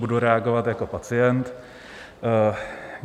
Budu reagovat jako pacient.